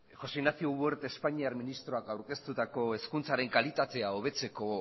josé ignacio wert espainiar ministroak aurkeztutako hezkuntzaren kalitatea hobetzeko